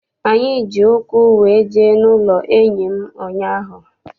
Anyị ji ụkwụ wee jee n'ụlọ enyi m ụnyaahụ.